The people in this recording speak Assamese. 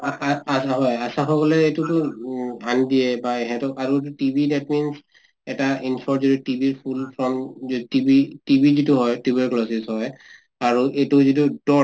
অ অ হয় আশা সকলে এইটোটো ধ্যান দিয়ে বা এহেতক আৰু TB that means এটা TB ৰ full form যিটো TB ,TB যিটো হয় tuberculosis হয় আৰু এইটো যিটো dots